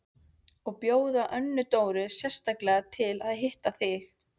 Og bjóða Önnu Dóru sérstaklega til að hitta þig!